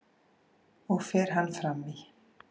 og fer hann fram í